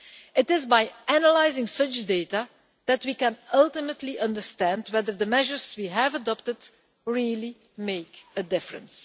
It is by analysing such data that we can ultimately understand whether the measures we have adopted really make a difference.